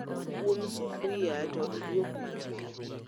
Um sufria to iduok mach piny